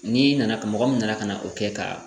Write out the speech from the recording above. N'i nana mɔgɔ min nana ka na o kɛ ka